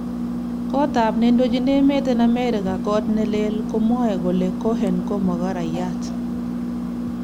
Kotap nendoji emet en amerika kot nelee komwae kole Cohen ko makorayiat.